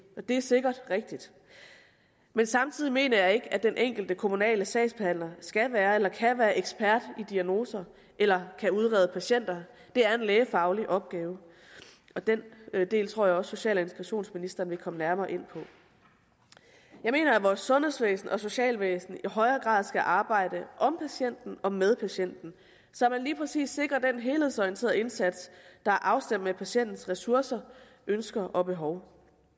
og det er sikkert rigtigt men samtidig mener jeg ikke at den enkelte kommunale sagsbehandler skal være eller kan være ekspert i diagnoser eller kan udrede patienter det er en lægefaglig opgave og den del tror jeg også at social og integrationsministeren vil komme nærmere ind på jeg mener at vores sundhedsvæsen og socialvæsen i højere grad skal arbejde om patienten og med patienten så man lige præcis sikrer den helhedsorienterede indsats der er afstemt med patientens ressourcer ønsker og behov